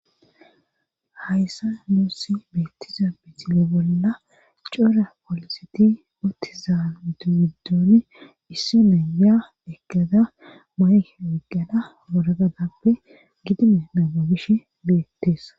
Hayssa nuussi beettiza bisile bolla coora pooliseti uttiza udubiddooni issi neya ekada mayke wiggada bolagadappe gidime naababish beettees